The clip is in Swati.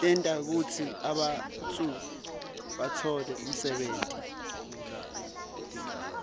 tenta kutsi bantfu batfole umsebenti